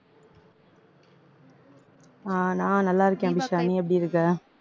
ஆஹ் நான் நல்லா இருக்கேன் அபிஷா நீ எப்படி இருக்க